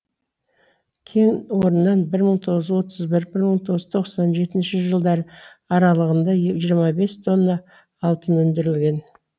кен орнынан бір мың тоғыз жүз отыз бір бір мың тоғыз жүз тоқсан жетінші жылдары аралығында жиырма бес тонна алтын өндірілген